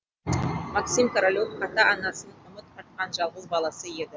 максим королев ата анасының үміт артқан жалғыз баласы еді